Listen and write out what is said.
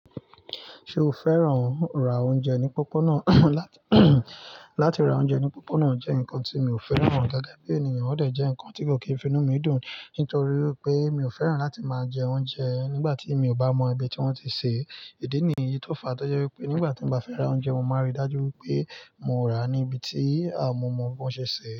Ṣo fẹ́ràn ra oúnjẹ ní pópónà? Láti ra oúnjẹ ní pópónà jẹ́ nǹkan tí mi ò fẹ́ràn dàaà, bí ènìyàn ọ̀dẹ̀ jẹ́ nǹkan tí kò kí ń fi inú mi dùn, nítorí wi pé mi ò fẹ́ràn láti máa jẹ oúnjẹ nígbà tí mi ò bá mọ ibi tí wọ́n ti ṣe é. Ìdí nìyí tó fa, tọ́ jẹ wípé nígbà tan bá fẹ́ ra oúnjẹ, mo màá rí dájú wípé mo rà á níbi tí à momọ̀ọ́ bi wọn ṣe sẹ̀